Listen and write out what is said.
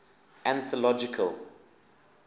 anthological